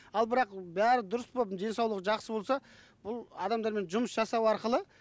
ал бірақ бәрі дұрыс болып денсаулығы жақсы болса бұл адамдармен жұмыс жасау арқылы